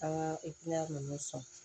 An ka ninnu sɔn